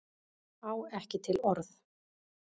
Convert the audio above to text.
Á ekki til orð